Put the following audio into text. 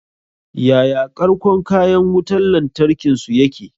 Yaya ƙarƙon kayan wutan lantarkin su yake?